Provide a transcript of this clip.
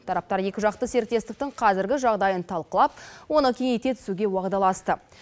тараптар екіжақты серіктестіктің қазіргі жағдайын талқылап оны кеңейте түсуге уағдаласты